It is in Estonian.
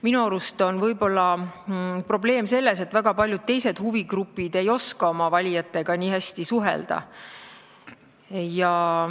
Minu arust võib olla probleem selles, et väga paljud teised huvigrupid ei oska nii hästi suhelda.